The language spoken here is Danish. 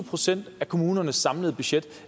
procent af kommunernes samlede budget